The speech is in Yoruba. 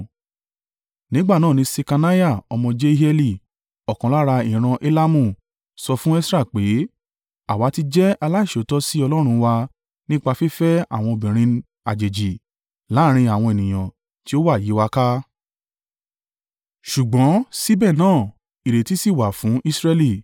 Nígbà náà ni Ṣekaniah ọmọ Jehieli, ọ̀kan lára ìran Elamu, sọ fún Esra pé, “Àwa ti jẹ́ aláìṣòótọ́ sí Ọlọ́run wa nípa fífẹ́ àwọn obìnrin àjèjì láàrín àwọn ènìyàn tí ó wà yí wa ká. Ṣùgbọ́n síbẹ̀ náà, ìrètí sì wà fún Israẹli